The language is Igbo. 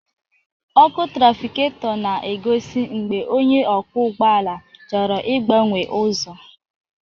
Ọkụ trafiketọ na-egosi mgbe onye ọkwọ ụgbọala chọrọ ịgbanwe ụzọ.